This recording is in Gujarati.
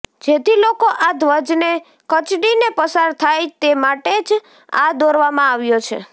જેથી લોકો આ ધ્વજને કચડીને પસાર થાય તે માટે જ આ દોરવામાં આવ્યો છે